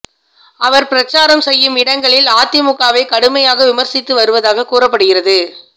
அவர் பிரச்சாரம் செய்யும் இடங்களில் அதிமுகவை கடுமையாக விமர்சித்து வருவதாக கூறப்படுகிறது